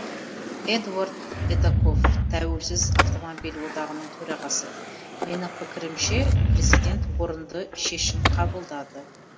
эдуард эдоков тәуелсіз автомобиль одағының төрағасы менің пікірімше президент орынды шешім қабылдады